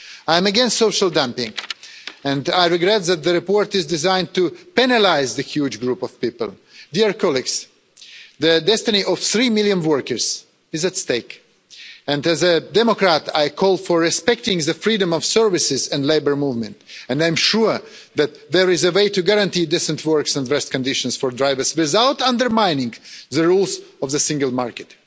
I am against social dumping and I regret that the report is designed to penalise this huge group of people. The destiny of three million workers is at stake and as a democrat I call for respecting the freedom of services and labour movement and I'm sure that there is a way to guarantee decent work and rest conditions for drivers without undermining the rules of the single market.